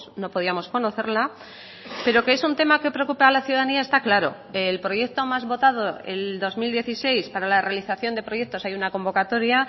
no podíamos conocerla pero que es un tema que preocupa a la ciudadanía está claro el proyecto más votado el dos mil dieciséis para la realización de proyectos hay una convocatoria